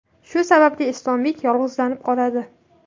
Shu sababli Islombek yolg‘izlanib qoladi.